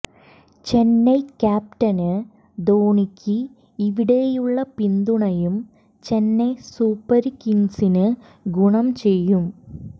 Chennai captain ധോണിക്ക് ഇവിടെയുള്ള പിന്തുണയും ചെന്നൈ സൂപ്പര് കിങ്സിന് ഗുണം ചെയ്യും